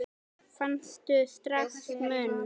Fannstu strax mun?